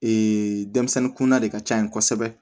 Ee denmisɛnnin kunda de ka ca yen kosɛbɛ